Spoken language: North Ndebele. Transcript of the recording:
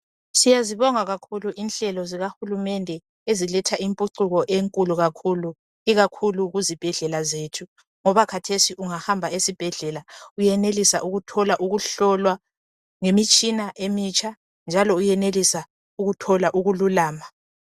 Siyazibonga kakhulu inhlelo zikahulumende eziletha imphucuko enkulu kakhulu ikakhulu kuzibhedlela zethu ngoba khathesi ungahamba esibhedlela uyenelisa ukuhlolwa njalo ngemitshina emitsha njalo uyenelisa ukuthola ukululama.